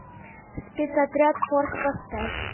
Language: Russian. спецотряд форс поставь